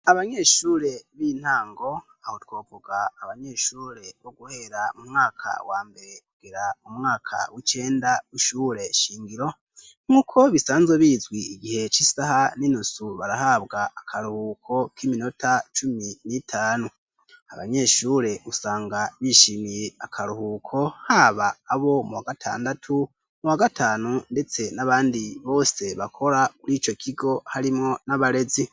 abanyeshure b'intango, aho twovuga abanyeshure bo guhera mu mwaka wambere kugera mu mwaka w'icenda w'ishure shingiro, nk'uko bisanzwe bizwi igihe c'isaha n'inusu barahabwa akaruhuko k'iminota cumi n'itanu, abanyeshure usanga bishimiye akaruhuko haba abo muwa gatandatu, muwa gatanu ndetse n'abandi bose bakora kuri ico kigo harimwo n'abarezi.